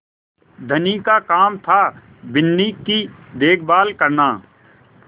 धनी का काम थाबिन्नी की देखभाल करना